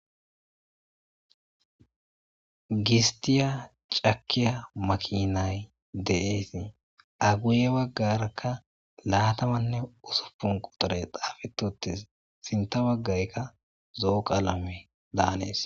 Gistiya cakiya makinay de7eesi aguye baggarakka laatamanne usupun quxuray xaafetotis sinta waggaykka zooqa alame daanees.